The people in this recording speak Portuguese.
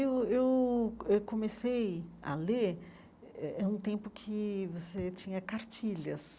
Eu eu eu comecei a ler eh eh em um tempo em que você tinha cartilhas.